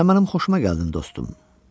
Sən mənim xoşuma gəldin, dostum.